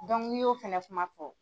Dɔnku n'i y'o fana kuma fɔ.